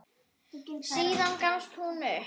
Síðan gafst þú upp.